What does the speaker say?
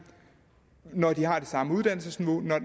når de har det samme uddannelsesniveau